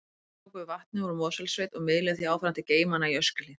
Þeir tóku við vatni úr Mosfellssveit og miðluðu því áfram til geymanna á Öskjuhlíð.